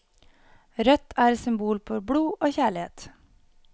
Rødt er symbol på blod og kjærlighet.